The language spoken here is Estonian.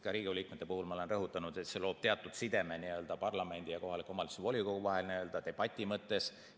Ka Riigikogu liikmete puhul ma olen rõhutanud, et see loob teatud sideme parlamendi ja kohaliku omavalitsuse volikogu vahel debati mõttes.